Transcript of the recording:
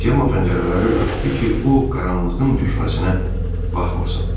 Cemma pəncərələri örtdü ki, o qaranlığın düşməsinə baxmasın.